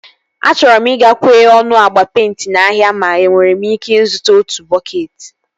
Achọrọ m ị ga-kwe ọnụ agba peịnti n'ahịa ma enwere m ike ịzụta otu bọketị